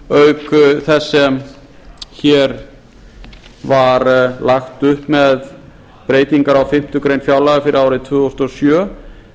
sjóðsstreymisbreytingum auk þess sem hér var lagt upp með breytingar á fimmtu grein fjárlaga fyrir árið tvö þúsund og sjö